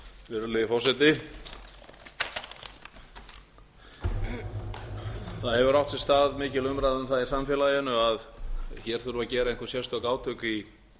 virðulegi forseti það hefur átt sér stað mikil umræða um það í samfélaginu að hér þurfi að gera einhver sérstök átök í